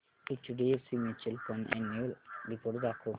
HDFC mutual fund annual report दाखव